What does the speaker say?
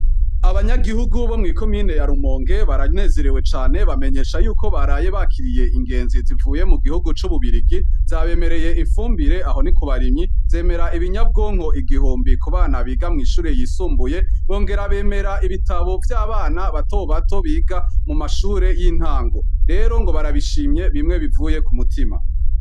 Abanyagihugu bo mw'ikumiyine yalumonke baranezerewe cane bamenyesha yuko baraye bakiriye ingenzi zivuye mu gihugu c'ububirigi, zabemereye imfumbire aho ni ku barimyi zemera ibinyabwonko igihumbi ku bana biga mw'ishure yisumbuye bongera bemera ibitabo vy'abana batobato biga mu mashure y'intango, rero ngo barabishimye bimwe bivuye ku mutima.